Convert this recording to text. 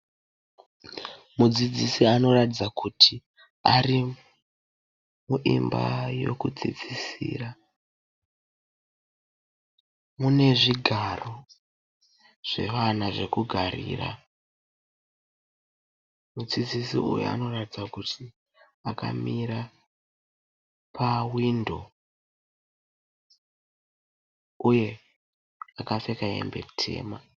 Mudzidzisi anoratidza kuti ari muimba yekudzidzisira mune zvigaro zvevana zvekugarira . Mudzidzisi uyu anoratidza kuti akamira pahwindo uye akapfeka hembe dema.